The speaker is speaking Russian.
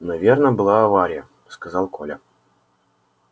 наверно была авария сказал коля